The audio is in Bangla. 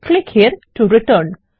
click here to return